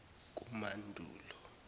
kumandulo